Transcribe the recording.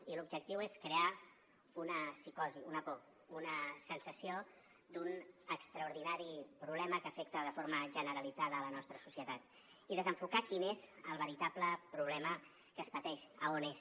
i l’objectiu és crear una psicosi una por una sensació d’un extraordinari problema que afecta de forma generalitzada la nostra societat i desenfocar quin és el veritable problema que es pateix a on és